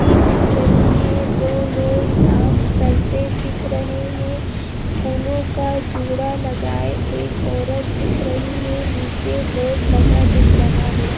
We दिख रहीं है दो लोग डांस करते दिख रहें हैं फूलों का जूड़ा लगाए एक औरत दिख रही है नीचे बोर्ड लगा दिख रहा है।